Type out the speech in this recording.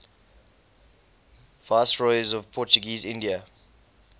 viceroys of portuguese india